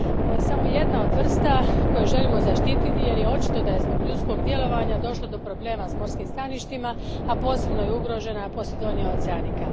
Ovo je samo jedna od vrsta koje želimo zaštititi jer je očito da je zbog ljudskog djelovanja došlo do problema s morskim staništima, a posebno je ugrožena Posidonia oceanica.